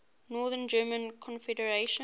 north german confederation